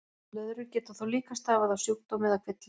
Blöðrur geta þó líka stafað af sjúkdómi eða kvilla.